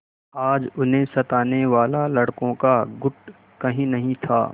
आज उन्हें सताने वाला लड़कों का गुट कहीं नहीं था